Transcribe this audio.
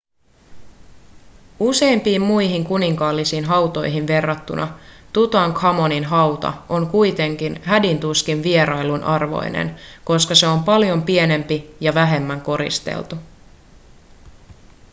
useimpiin muihin kuninkaallisiin hautoihin verrattuna tutankhamonin hauta on kuitenkin hädin tuskin vierailun arvoinen koska se on paljon pienempi ja vähemmän koristeltu